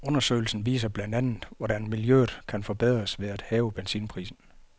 Undersøgelsen viser blandt andet hvordan miljøet kan forbedres ved at hæve benzinprisen.